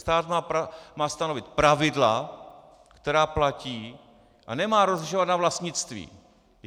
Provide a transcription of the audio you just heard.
Stát má stanovit pravidla, která platí, a nemá rozlišovat na vlastnictví.